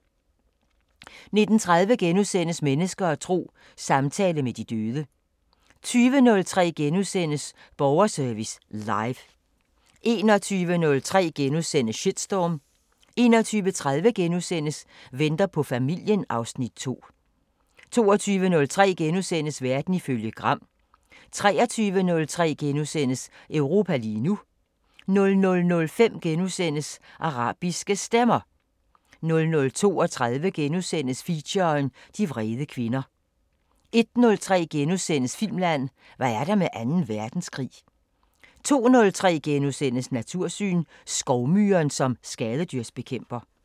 19:30: Mennesker og tro: Samtale med de døde * 20:03: Borgerservice Live * 21:03: Shitstorm * 21:30: Venter på familien (Afs. 2)* 22:03: Verden ifølge Gram * 23:03: Europa lige nu * 00:05: Arabiske Stemmer * 00:32: Feature: De vrede kvinder * 01:03: Filmland: Hvad er der med anden verdenskrig? * 02:03: Natursyn: Skovmyren som skadedyrsbekæmper *